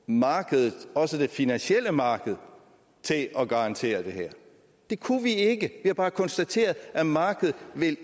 markedet også det finansielle marked til at garantere det her det kunne vi ikke vi har bare konstateret at markedet